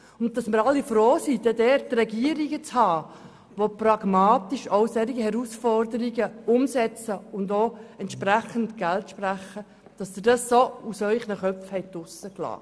Wir sind alle froh, dann eine Regierung zu haben, die auch solche Herausforderungen pragmatisch angehen und angemessen Geld sprechen kann, und mich erstaunt, dass das gar keinen Platz in Ihren Köpfen hat.